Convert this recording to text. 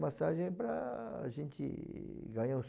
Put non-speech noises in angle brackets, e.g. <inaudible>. massagem para gente <unintelligible>